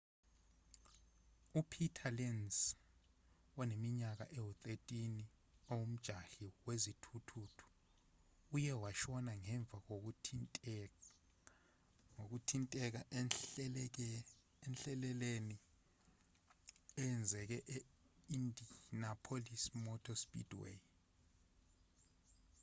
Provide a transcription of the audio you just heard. upeter lenz oneminyaka ewu-13 ongumjahi wezithuthuthu uye washona ngemva kokuthinteka enhlekeleleni eyenzeke e-indianapolis motor speedway